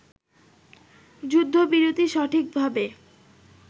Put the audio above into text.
“যুদ্ধবিরতি সঠিকভাবে